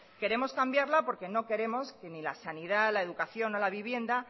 queremos cambiarla porque no queremos que ni la sanidad la educación o la vivienda